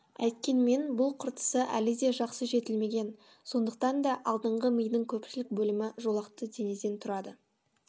әйткенмен бұл қыртысы әлі де жақсы жетілмеген сондықтан да алдыңғы мидың көпшілік бөлімі жолақты денеден тұрады